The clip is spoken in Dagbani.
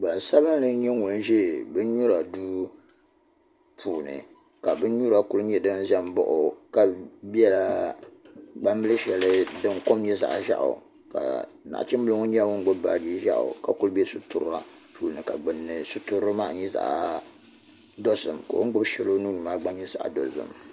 Do sabinli n nyɛ ŋun ʒɛ bin nyura duu puuni ka bin nyura ku nyɛ din ʒɛ n baɣa o ka biɛla gbambili shɛli ni din kom nyɛ zaɣ vakaɣali ni nachimbili ŋo nyɛla ŋun gbubi baaji ka ku bɛ sitira puuni ka gbunni sitirili maa nyɛ zaɣ dozim ka o ni gbubi shɛli o nuuni maa gba nyɛ zaɣ dozim